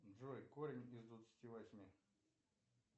джой корень из двадцати восьми